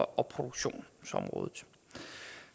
og produktionsområdet